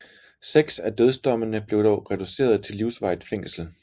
Seks af dødsdommene blev dog reduceret til livsvarigt fængsel